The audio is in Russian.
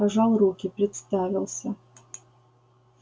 пожал руки представился